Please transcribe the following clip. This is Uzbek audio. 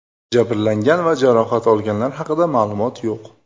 Jabrlangan va jarohat olganlar haqida ma’lumot yo‘q.